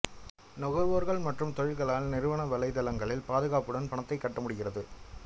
நுகர்வோர்கள் மற்றும் தொழில்களால் நிறுவன வலைத்தளங்களில் பாதுகாப்புடன் பணத்தைக் கட்ட முடிகிறது